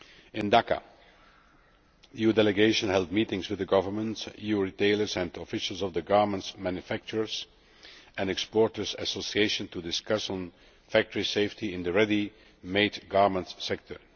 In Dhaka, the EU Delegation held meetings with the government, EU retailers and officials of the Garments Manufacturers and Exporters Association to discuss factory safety in the ready made garment sector.